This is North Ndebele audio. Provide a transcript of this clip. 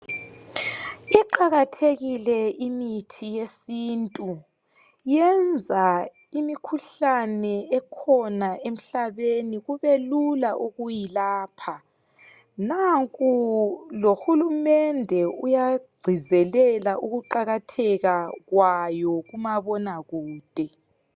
Iqakathekile imithi yesintu. Yenza imikhuhlane ekhona emhlabeni kubelula ukuyilapha. Nanku lohulumende uyagcizelela ukuqakatheka kwayo, kumabona kude.